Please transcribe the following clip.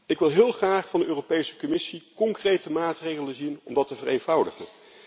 Ik wil heel graag van de Europese Commissie concrete maatregelen zien om dat te vereenvoudigen.